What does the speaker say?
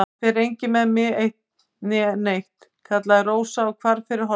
Það fer enginn með mig eitt né neitt, kallaði Rósa og hvarf fyrir hornið.